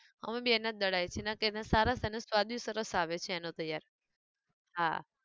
અમે બી એના જ દળાઈએ છે, ના કે એના સારા અને સ્વાદિષ્ટ સરસ આવે છે એનો તૈયાર, હા